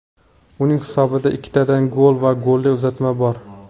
Uning hisobida ikkitadan gol va golli uzatma bor.